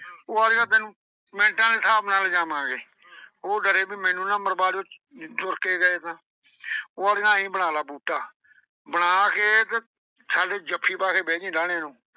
ਉਹ ਆਂਹਦਾ ਤੈਨੂੰ ਮਿੰਟਾ ਦੇ ਸਾਬ੍ਹ ਨਾਲ ਲਿਜਾਵਾਂਗੇ। ਉਹ ਡਰੇ ਵੀ ਮੈਨੂੰ ਨਾ ਮਰਵਾ ਦਿਓ। ਜੇ ਤੁਰ ਕੇ ਗਏ ਤਾਂ। ਉਹ ਆਂਹਦਾ ਆਈਂ ਬਣਾ ਲਾ ਬੂਟਾ। ਬਣਾ ਕੇ ਤੇ ਸਾਡੇ ਜੱਫੀ ਪਾ ਕੇ ਬਹਿ ਜੀਂ ਡਾਹਣੇ ਨੂੰ।